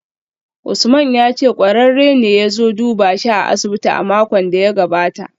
Usman ya ce kwararre ne ya zo duba shi a asibiti a makon da ya gabata